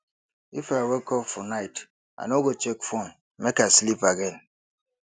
if i wake up for night i no go check phone make i sleep again